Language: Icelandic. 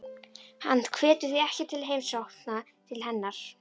Hann hvetur því ekki til heimsókna til hennar.